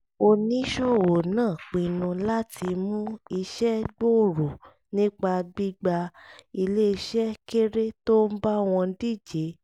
oníṣòwò náà pinnu láti mú iṣẹ́ gbòòrò nípa gbígba iléeṣẹ́ kéré tó ń bá wọn díje